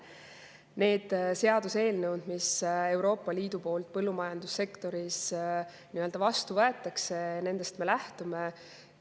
Nendest seaduseelnõudest, mis Euroopa Liidus põllumajandussektori kohta vastu võetakse, me lähtume.